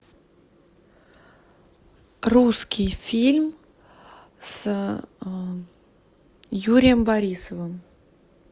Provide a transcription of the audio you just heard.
русский фильм с юрием борисовым